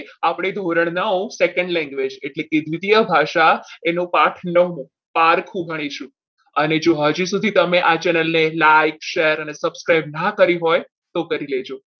આપણે ધોરણ નવ Second language એટલે કે દ્વિતીય ભાષા એનો પાઠ નવમો પારખું ગણીશું અને જો હજી સુધી તમે આ channel ને like share અને subscribe ના કરી હોય તો કરી લેજો.